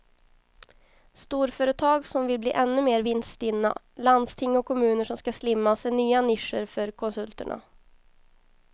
Storföretag som vill bli ännu mer vinststinna, landsting och kommuner som ska slimmas är nya nischer för konsulterna.